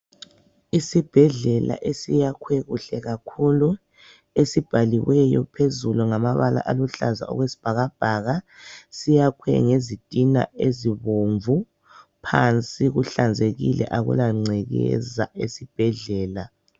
Isibhedlela esiyakhwe kuhle kakhulu. Esibhaliweyo phezulu ngamabala aluhlaza okwesibhakabhaka. Siyakhwe ngezitina ezibomvu. Phansi kuhlanzekile akulangcekeza esibhedlela.